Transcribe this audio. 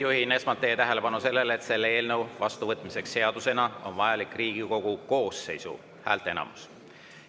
Juhin esmalt teie tähelepanu, et selle eelnõu vastuvõtmiseks seadusena on vajalik Riigikogu koosseisu häälteenamus.